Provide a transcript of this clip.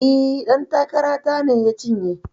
E, ɗan takara ta ne ya cinye.